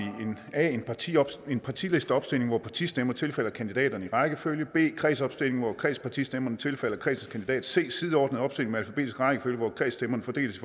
a partilisteopstilling hvor partistemmer tilfalder kandidaterne i rækkefølge b kredsopstilling hvor kredspartistemmerne tilfalder kredsens kandidat c sideordnet opstilling med alfabetisk rækkefølge hvor kredsstemmerne fordeles